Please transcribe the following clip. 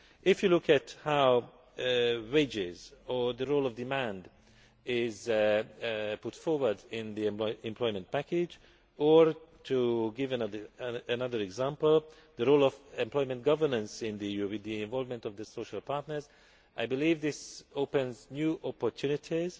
If you look at how wages or the role of demand is put forward in the employment package, or to give another example, the role of employment governance in the EU with the involvement of the social partners, I believe these open up new opportunities